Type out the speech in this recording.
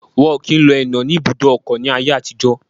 Wọn kìí lo ẹnà ní ibùdó ọkọ̀ ní ayé àtijọ́